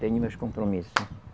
Tenho meus compromisso.